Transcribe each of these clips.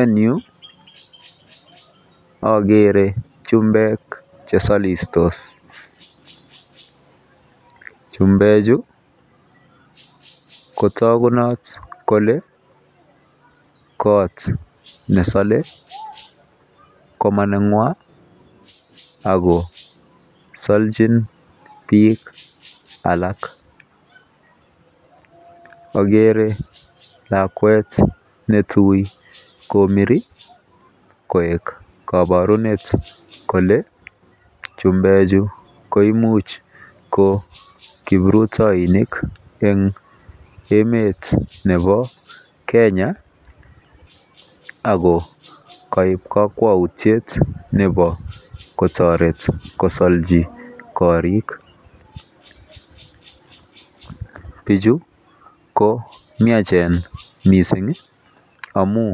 En yu akere chumbek chesolih tos chumbechu kotokunot kole kot nesole komonengwong ako soljin bik alak agree lakwet netui komiri koik koborunet kole chumbekchu koimin ko kiprutoinik emet nebo Kenya ago koib kokwoutiet nebo kotoret kosolji korik biju ko miajen missing amun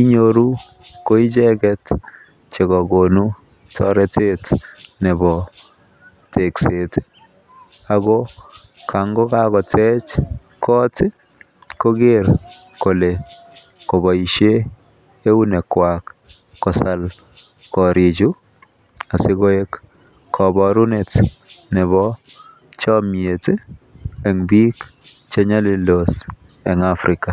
inyoru koicheket chekokonu toretet nebo tekset ago kan ko kakotej kot koker kole koboishen eunekwak kosolishen koriju asikoi kabarunet nebo chomiet en bik che nyolildose Africa.